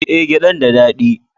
Eh, gyadan da dadi